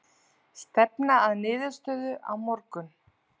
Stefna að niðurstöðu á morgun